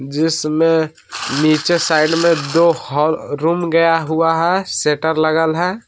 दृश्य में नीचे साइड में दो हा रूम गया हुआ है शेटर लगल है।